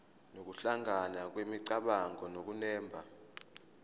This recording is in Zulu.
nokuhlangana kwemicabango nokunemba